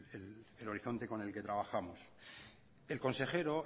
ese es el horizonte con el que trabajamos el consejero